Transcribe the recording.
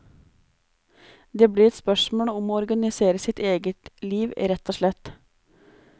Det blir et spørsmål om å organisere sitt eget liv rett og slett.